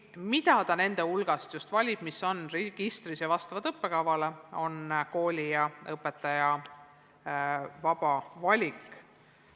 Mida nende registris olevate hulgast valitakse, vastavalt õppekavale, on kooli ja õpetaja vaba valik.